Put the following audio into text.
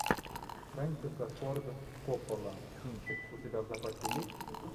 фрэнсиса форд коппола кинчик у тебя в запасе есть